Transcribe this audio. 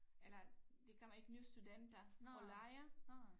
Eller der kommer ikke nye studenter og lejer